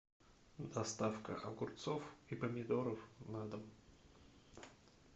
доставка огурцов и помидоров на дом